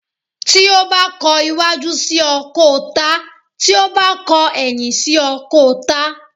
Tí o ba kọ̀ waju sí o, ko tá Tí o ba kọ̀ eyin sí o, ko tá